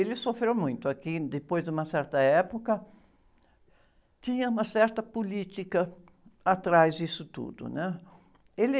Ele sofreu muito aqui, depois de uma certa época, tinha uma certa política atrás disso tudo, né? Ele...